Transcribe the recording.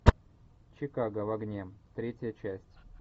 чикаго в огне третья часть